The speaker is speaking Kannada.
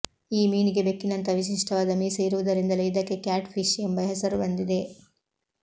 ಈ ಮೀನಿಗೆ ಬೆಕ್ಕಿನಂತಹ ವಿಶಿಷ್ಟವಾದ ಮೀಸೆ ಇರುವುದರಿಂದಲೇ ಇದಕ್ಕೆ ಕ್ಯಾಟ್ಫಿಶ್ ಎಂಬ ಹೆಸರು ಬಂದಿದೆ